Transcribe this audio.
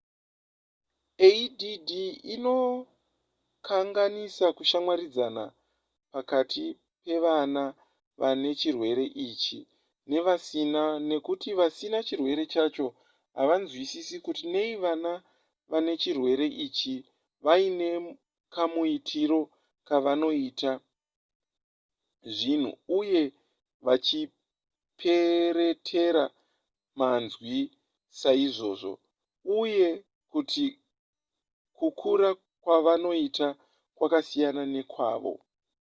add inokanganisa kushamwaridzana pakati pevana vane chirwere ichi nevasina nekuti vasina chirwere chacho havanzwisisi kuti nei vana vane chirwere ichi vaine kamuitiro kavanoita zvinhu uye vachiperetera manzwi saizvozvo uye kuti kukura kwavanoita kwakasiyana nekwavo